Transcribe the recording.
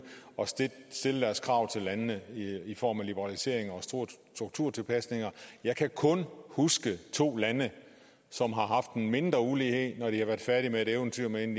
at stille deres krav til landene i form af liberaliseringer og strukturtilpasninger jeg kan kun huske to lande som har haft en mindre ulighed da de var færdige med et eventyr med en